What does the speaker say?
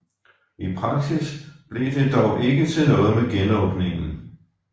I praksis blev det dog ikke til noget med genåbningen